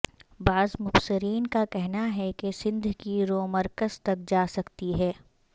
بعض مبصرین کا کہنا ہے کہ سندھ کی رو مرکز تک جا سکتی ہے